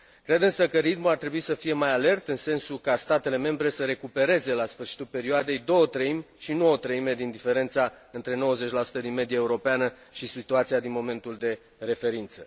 Cred însă că ritmul ar trebui să fie mai alert, în sensul ca statele membre să recupereze la sfârșitul perioadei două treimi, și nu o treime din diferența între 90 din media europeană și situația din momentul de referință.